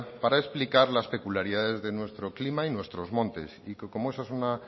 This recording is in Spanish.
para explicar las peculiaridades de nuestro clima y nuestros montes y que como eso es una